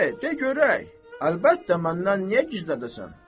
De, de görək, əlbəttə, məndən niyə gizlədəsən?